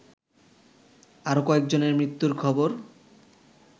আরো কয়েকজনের মৃত্যুর খবর